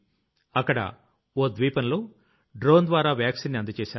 అక్కడ ఓ ద్వీపంలో డ్రోన్ ద్వారా వాక్సీన్ ని అందజేశారు